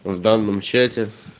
в данном чате